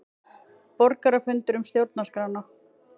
Borgarafundur um stjórnarskrána